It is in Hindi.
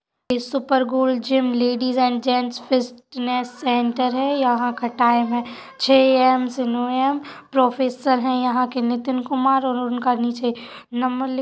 इस super gold gym ladies and gents fitness centre है यहाँ का टाइम हैं छे एएम से नौ एएम प्रोफेसर हैं | यहाँ के नितिन कुमार और उनका नीचे नम्बर लि --